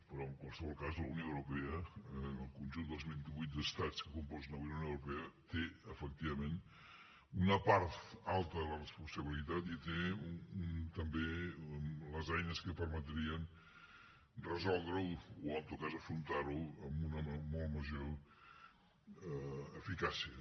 però en qualsevol cas la unió europea el conjunt dels vint i vuit estats que componen la unió europea té efectivament una part alta de la responsabilitat i té també les eines que permetrien resoldre ho o en tot cas afrontar ho amb una molt major eficàcia